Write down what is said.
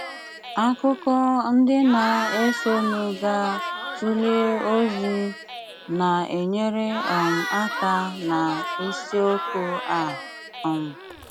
Ákụ̀kọ ndị na-ésónú gá-túlé ózí ná-ényére um áká ná ísíókù á. um